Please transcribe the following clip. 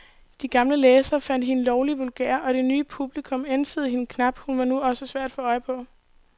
De gamle læsere fandt hende lovlig vulgær, og det nye publikum ænsede hende knap, hun var nu også svær at få øje på.